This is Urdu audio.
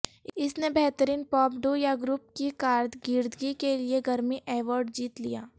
اس نے بہترین پاپ ڈو یا گروپ کی کارکردگی کے لئے گرمی ایوارڈ جیت لیا